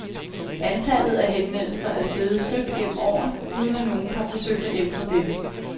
Antallet af henvendelser er steget støt gennem årene, uden at nogen har forsøgt at ændre dette.